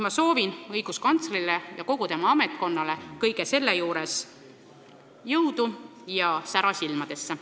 Ma soovin õiguskantslerile ja kogu tema ametkonnale kõige selle juures jõudu ja sära silmadesse.